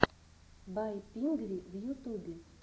бай пингви в ютубе